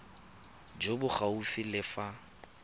jo bo gaufi le fa